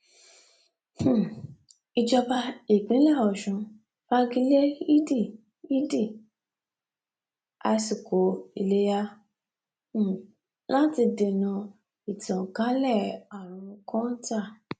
um ìjọba ìpínlẹ ọsùn fagi lé yídi yídi ìásikò iléyà um láti dènà ìtànkalẹ àrùn kọńtà